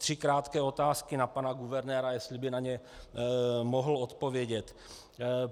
Tři krátké otázky na pana guvernéra, jestli by na ně mohl odpovědět.